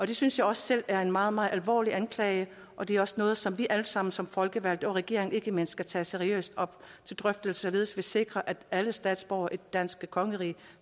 det synes jeg også selv er en meget meget alvorlig anklage og det er også noget som vi allesammen som folkevalgte og regeringen ikke mindst skal tage seriøst op til drøftelse således at vi sikrer at alle statsborgere i det danske kongerige